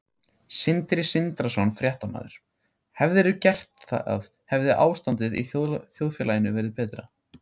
Sindri Sindrason, fréttamaður: Hefðirðu gert það hefði ástandið í þjóðfélaginu verið betra?